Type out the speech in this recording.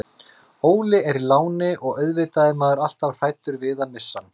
Óli er í láni og auðvitað er maður alltaf hræddur við að missa hann.